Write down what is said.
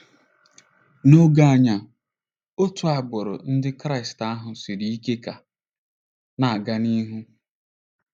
N'oge anyị a, otu agbụrụ Ndị Kraịst ahụ siri ike ka na-aga n'ihu.